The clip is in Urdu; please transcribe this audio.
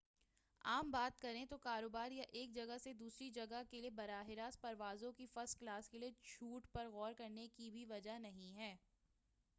عام بات کریں تو کاروبار یا ایک جگہ سے دوسری جگہ کیلئے براہ راست پروازوں کے فرسٹ کلاس کیلئے چھوٹ پر غور کرنے کی بھی وجہ نہیں ہے